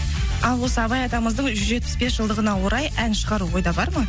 ал осы абай атамыздың жүз жетпіс бес жылдығына орай ән шығару ойда бар ма